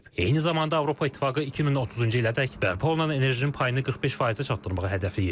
Eyni zamanda Avropa İttifaqı 2030-cu ilədək bərpa olunan enerjinin payını 45%-ə çatdırmağı hədəfləyir.